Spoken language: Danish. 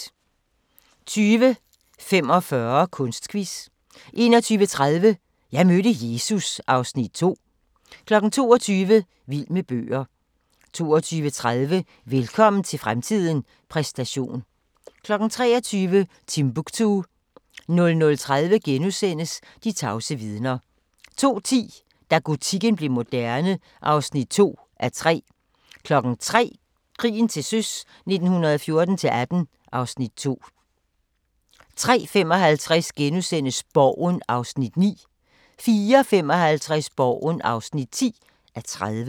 20:45: Kunstquiz 21:30: Jeg mødte Jesus (Afs. 2) 22:00: Vild med bøger 22:30: Velkommen til fremtiden – præstation 23:00: Timbuktu 00:30: De tavse vidner * 02:10: Da gotikken blev moderne (2:3) 03:00: Krigen til søs 1914-18 (Afs. 2) 03:55: Borgen (9:30)* 04:55: Borgen (10:30)